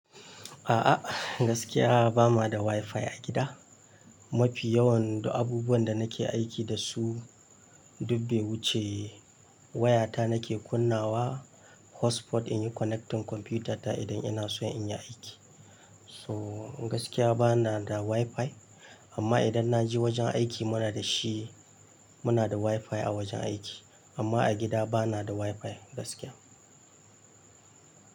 A'a, gaskiya ba ma da wifi a gida. Mafi yawan abubuwan da nake aiki da su duk bai wuce waya ta nake kunnawa hotspot in yi connecting kwamfutata idan ina so in yi aiki. So gaskiya bana da wifi amma idan na je wajen aiki muna da shi. Muna da wifi a wajen aiki amma a gida bana da wifi gaskiya.